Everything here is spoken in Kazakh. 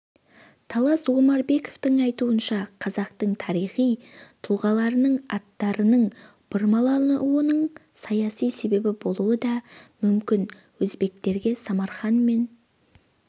талас омарбековтың айтуынша қазақтың тарихи тұлғаларының аттарының бұрмалануының саяси себебі болуы да мүмкін өзбектерге самарқан мен